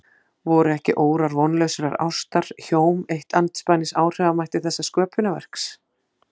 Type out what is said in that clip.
Voru ekki órar vonlausrar ástar hjóm eitt andspænis áhrifamætti þessa sköpunarverks?